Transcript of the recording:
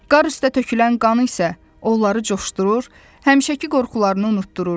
Qar üstə tökülən qan isə onları coşdurur, həmişəki qorxularını unutdururdu.